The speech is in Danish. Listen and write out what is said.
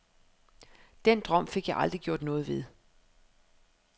Den drøm fik jeg aldrig gjort noget ved.